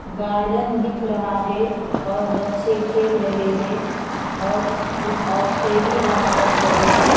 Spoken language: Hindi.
गार्डन दिख रहा है और बच्चे खेल रहे हैं और कुछ औरतें भी वहां पर खड़े हैं।